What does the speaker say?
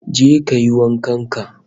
Je kayi wankan ka